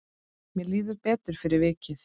Mér líður betur fyrir vikið.